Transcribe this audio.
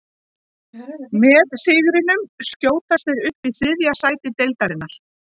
Með sigrinum skjótast þeir upp í þriðja sæti deildarinnar.